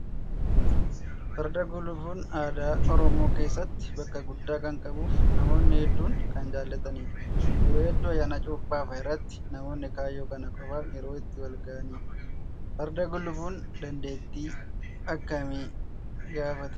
Farda gulufuun aadaa oromoo keessatti bakka guddaa kan qabuu fi namoonni hedduun kan jaallatanidha. Yeroo hedduu ayyaana cuuphaa fa'aarratti namoonni kaayyoo kana qofaaf yeroo itti wal gahanidha. Farda gulufuun dandeettii akkamii gaafataa?